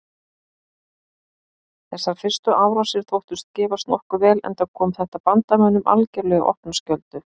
Þessar fyrstu árásir þóttust gefast nokkuð vel enda kom þetta bandamönnum algerlega í opna skjöldu.